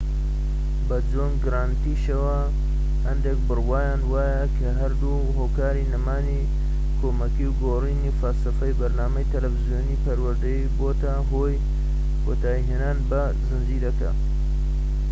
بە جۆن گرانتیشەوە هەندێک بڕوایان وایە کە هەردوو هۆکاری نەمانی کۆمەکیی و گۆڕینی فەلسەفەی بەرنامەی تەلەڤیزۆنیی پەروەردەیی بۆتە هۆی کۆتایی هێنان بە زنجیرەکە